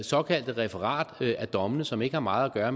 såkaldte referat af dommene som ikke har meget at